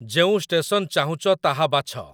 ଯେଉଁ ଷ୍ଟେସନ ଚାହୁଁଚ, ତାହା ବାଛ।